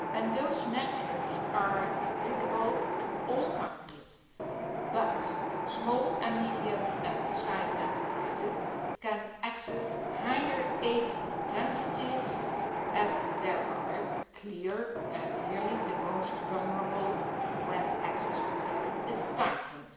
Those measures are applicable to all companies but small and medium sized enterprises can access higher aid intensities, as they are clearly the most vulnerable when access to credit is tightened.